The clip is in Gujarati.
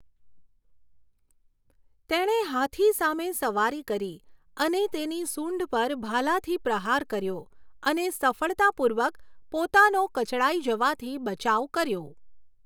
તેણે હાથી સામે સવારી કરી અને તેની સૂંઢ પર ભાલાથી પ્રહાર કર્યો અને સફળતાપૂર્વક પોતાનો કચડાઈ જવાથી બચાવ કર્યો.